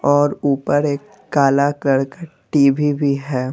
और ऊपर एक काला कलर का टी_वी भी है।